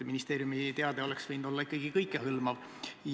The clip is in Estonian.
Ministeeriumi teade oleks võinud olla ikkagi kõikehõlmav.